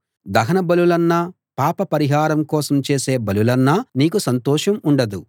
దహన బలులన్నా పాప పరిహారం కోసం చేసే బలులన్నా నీకు సంతోషం ఉండదు